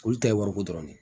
Olu ta ye wariko dɔrɔn de ye